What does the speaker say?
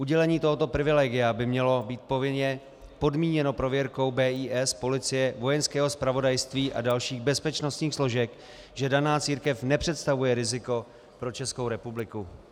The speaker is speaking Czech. Udělení tohoto privilegia by mělo být povinně podmíněno prověrkou BIS, policie, Vojenského zpravodajství a dalších bezpečnostních složek, že daná církev nepředstavuje riziko pro Českou republiku.